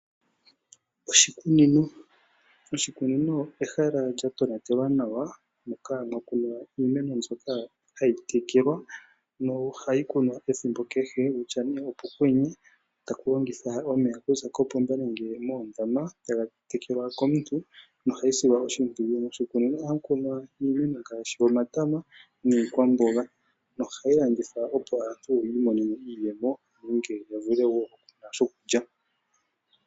Oshikunino Oshikunino ehala lya tonatelwa nawa, moka hamu kunwa iimeno mbyoka hayi tekelwa nohayi kunwa pethimbo kehe kutya ne opokwenye, taku longithwa omeya okuza kopomba nenge moondaama, taga tekelwa komuntu nohayi silwa oshimpwiyu. Moshikunino ohamu kunwa iimeno ngaashi, omatama niikwamboga nohayi landithwa opo aantu yi imonene iiyemo nenge ya vule okumona sha shokulya.